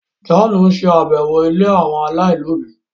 John n ṣe àbẹwò ílé àwọn ọmọ alailòbí